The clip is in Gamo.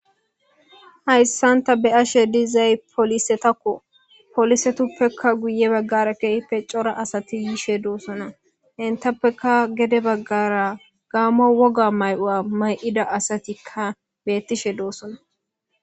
Haysan ta be'ashe dizay polisetakko. Polisetuppekka guye baggara keehjyppe cora asati yishee dosona. Entappeka gede baggara Gamo woga mayuwa mayidda asatika bettishee dosona.